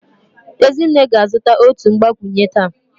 Ezinne ga-azụta otu mgbakwunye taa